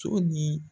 So ni